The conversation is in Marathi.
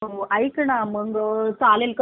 चालेल कधी पाठवशील तु मिस्टरांना